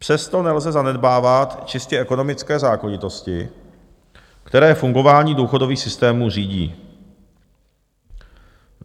Přesto nelze zanedbávat čistě ekonomické zákonitosti, které fungování důchodových systémů řídí.